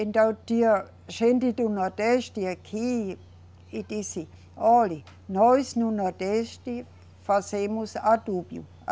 Então tinha gente do Nordeste, aqui, e disse, olhe, nós, no Nordeste, fazemos adubos.